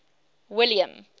william